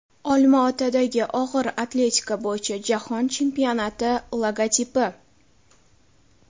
Olma-Otadagi og‘ir atletika bo‘yicha jahon chempionati logotipi.